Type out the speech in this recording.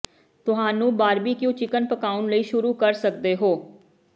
ਤੁਹਾਨੂੰ barbecue chicken ਪਕਾਉਣ ਲਈ ਸ਼ੁਰੂ ਕਰ ਸਕਦੇ ਹੋ